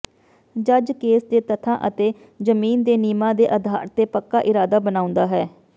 ਜੱਜ ਕੇਸ ਦੇ ਤੱਥਾਂ ਅਤੇ ਜ਼ਮੀਨ ਦੇ ਨਿਯਮਾਂ ਦੇ ਆਧਾਰ ਤੇ ਪੱਕਾ ਇਰਾਦਾ ਬਣਾਉਂਦਾ ਹੈ